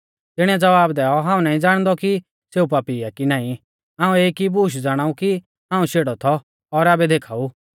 तिणीऐ ज़वाब दैऔ हाऊं नाईं ज़ाणदौ कि सेऊ पापी आ कि नाईं हाऊं एक ई बूश ज़ाणाऊ कि हाऊं शेड़ौ थौ और आबै देखाऊ